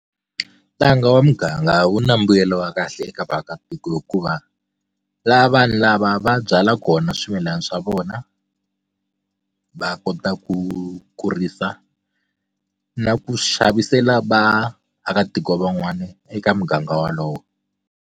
Ntanga wa muganga wu na mbuyelo wa kahle eka vaakatiko hikuva laha vanhu lava va byala kona swimilana swa vona va kota ku kurisa na ku xavisela vaakatiko van'wani eka muganga wolowo.